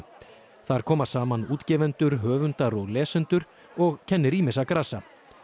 þar koma saman útgefendur höfundar og lesendur og kennir ýmissa grasa